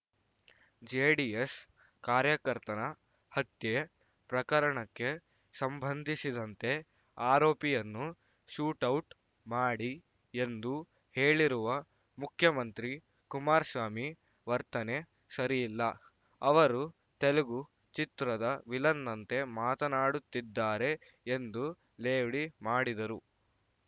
JDS ಕಾರ್ಯಕರ್ತನ ಹತ್ಯೆ ಪ್ರಕರಣಕ್ಕೆ ಸಂಬಂಧಿಸಿದಂತೆ ಆರೋಪಿಯನ್ನು ಶೂಟೌಟ್‌ ಮಾಡಿ ಎಂದು ಹೇಳಿರುವ ಮುಖ್ಯಮಂತ್ರಿ ಕುಮಾರಸ್ವಾಮಿ ವರ್ತನೆ ಸರಿಯಲ್ಲ ಅವರು ತೆಲುಗು ಚಿತ್ರದ ವಿಲನ್‌ನಂತೆ ಮಾತನಾಡುತ್ತಿದ್ದಾರೆ ಎಂದು ಲೇವಡಿ ಮಾಡಿದರು